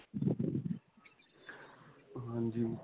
ਹਾਂਜੀ.